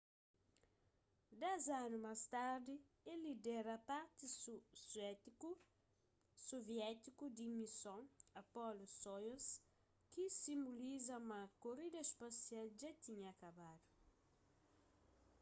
dez anu más tardi el lidera parti soviétiku di mison apollo-soyuz ki sinboliza ma korida spasial dja tinha kabadu